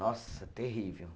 Nossa, terrível.